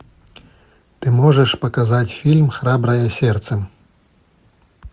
ты можешь показать фильм храброе сердце